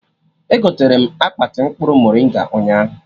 Egoterem akpati mkpụrụ moringa ụnyaahụ